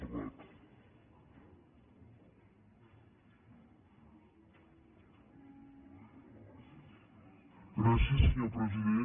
gràcies senyor president